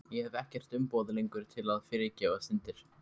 Ég hef ekkert umboð lengur til að fyrirgefa syndir.